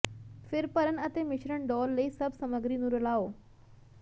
ਫਿਰ ਭਰਨ ਅਤੇ ਮਿਸ਼ਰਣ ਡੋਲ੍ਹ ਲਈ ਸਭ ਸਮੱਗਰੀ ਨੂੰ ਰਲਾਓ